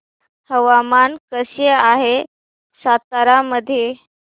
हवामान कसे आहे सातारा मध्ये